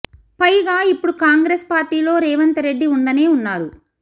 పైగా ఇప్పుడు కాంగ్రెస్ పార్టీలో రేవంత్ రెడ్డి ఉండనే ఉన్నారు